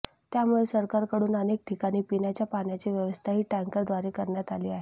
त्यामुळे सरकारकडून अनेक ठिकाणी पिण्याच्या पाण्याची व्यवस्था ही टँकर द्वारे करण्यात आली आहे